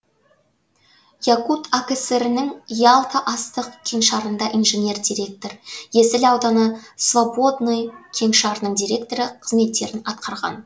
якут акср нің ялта астық кеңшарында инженер директор есіл ауданы свободный кеңшарының директоры қызметтерін атқарған